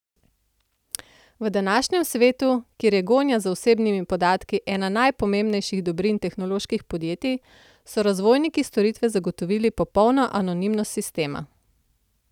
V današnjem svetu, kjer je gonja za osebnimi podatki ena najpomembnejših dobrin tehnoloških podjetij, so razvojniki storitve zagotovili popolno anonimnost sistema.